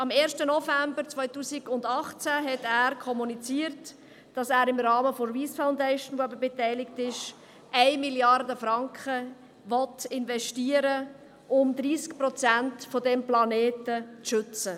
Am 1. November 2018 kommunizierte er, dass er im Rahmen der Wyss Foundation, die bekanntlich beteiligt ist, 1 Mrd. Franken investieren will, um bis zu 30 Prozent dieses Planeten zu schützen.